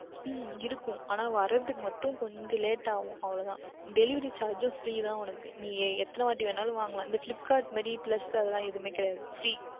உம் இருக்கும் ஆனால் வருவதற்கு மற்றும் கொஞ்சம் Leat ஆகும் அவ்வளவு தான் Delivery Charge Free தான் உனக்கு நீ எத்தனை வாற்றி வேண்டுமென்றாலும் வாங்கிக்கொள்ளலாம் இந்த Flipkart மாதிரி Plus எதுவுமே கிடையாது Free